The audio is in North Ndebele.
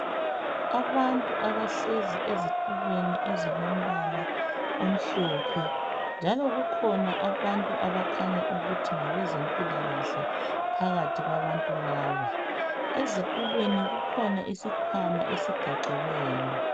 Abantu abahlezi ezitulweni ezilombala omhlophe. Njalo kukhona abantu abakhanya ukuthi ngabezempilakahle phakathi kwabantu laba. Ezitulweni kukhona isikhwama esigaxiweyo.